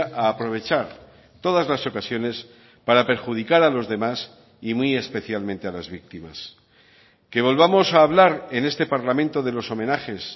a aprovechar todas las ocasiones para perjudicar a los demás y muy especialmente a las víctimas que volvamos a hablar en este parlamento de los homenajes